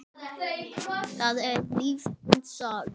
það er lífsins saga.